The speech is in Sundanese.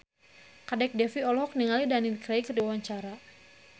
Kadek Devi olohok ningali Daniel Craig keur diwawancara